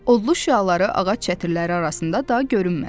Odlu şüaları ağac çətirləri arasında daha görünmədi.